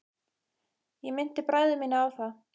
Ég minnti bræður mína á það.